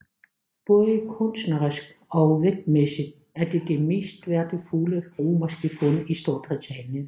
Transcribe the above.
Både kunstnerisk og vægtmæssigt er det det mest værdifuld romerske fund i Storbritannien